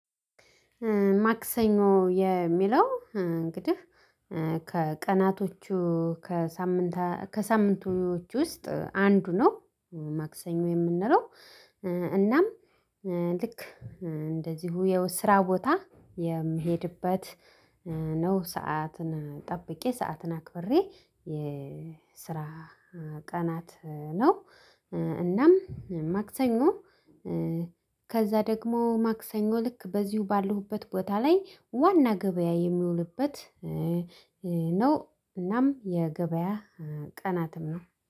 ማክሰኞ የሚለው እንግዲህ ከቀናቶቹ ከሳምንት ከሳምንቶች ውስጥ አንዱ ነው። ማክሰኞ የምንለው እናም ልክ እንደዚሁ የው ስራ ቦታ የምሄድበት ነው ሰዓትን ጠብቄ ሰዓትን አክብሬ የስራ ቀናት ነው። እናም ማክሰኞ ከዛ ደግሞ ማክሰኞ ልክ በዚሁ ባለሁበት ቦታ ላይ ዋና ገበያ የሚውልበት። ነው እናም የገበያ ቀናትም ነው